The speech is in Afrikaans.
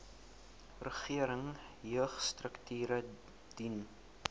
regering jeugstrukture dien